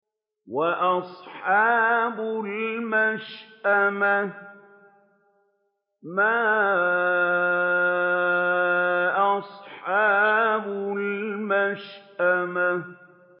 وَأَصْحَابُ الْمَشْأَمَةِ مَا أَصْحَابُ الْمَشْأَمَةِ